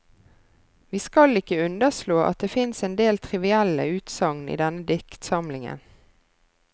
Vi skal ikke underslå at det fins en del trivielle utsagn i denne diktsamlingen.